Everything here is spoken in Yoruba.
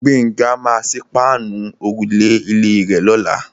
Gbénga maa sí páànù òrùlé ilé rè lọ́la.